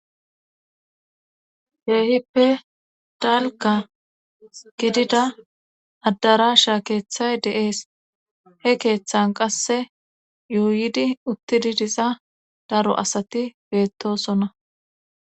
Keehippe dalka gidida addarasha keeththay deees he keeththan qasse yuuyidi uttidi diza daro asati beettosona.